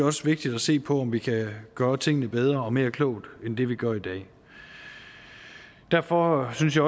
også vigtigt at se på om vi kan gøre tingene bedre og mere klogt end vi vi gør i dag derfor synes jeg